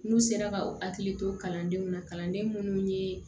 N'u sera ka u hakili to kalandenw na kalanden minnu ye